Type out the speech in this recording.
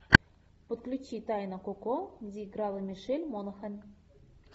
подключи тайна коко где играла мишель монахэн